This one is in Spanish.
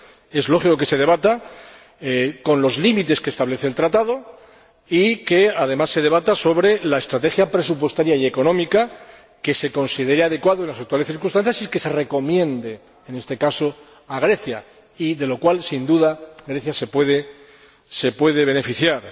Es lógico que se debata, dentro de los límites que establece el Tratado, y que, además, se haga sobre la estrategia presupuestaria y económica que se considere adecuada en las actuales circunstancias, y que se recomiende en este caso a Grecia, de lo cual Grecia, sin duda, se puede beneficiar.